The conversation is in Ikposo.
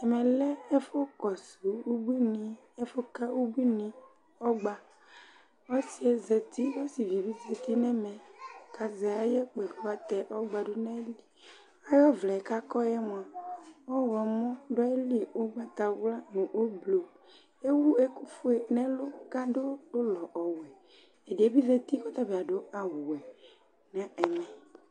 Ɛmɛ lɛ ɛfʋ kɔsʋ ubuini, ɛfʋ ka ubuini ɔgba Ɔsɩɛ zati ,osɩvi bɩ zati nɛmɛ kazɛ aya kpoe kʋ atɛ ɔgba dʋ nayiliAyʋ ɔvlɛ kʋakɔ yɛ mʋa , ɔɣlɔmɔ dʋ ayili ,ʋgbatawlanʋ ʋblʋ ; tewu ɛkʋ fue nɛlʋ kadʋ ʋlɔ ɔvɛ, ɛdɩɛ bɩ zati kɔta bɩ adʋ awʋ wɛ